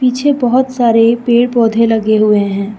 पीछे बहुत सारे पेड़ पौधे लगे हुए हैं।